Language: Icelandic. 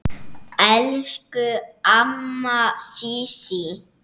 Elsku amma Sísí.